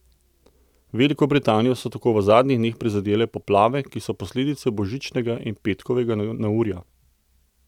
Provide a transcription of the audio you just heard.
Veliko Britanijo so tako v zadnjih dneh prizadele poplave, ki so posledice božičnega in petkovega neurja.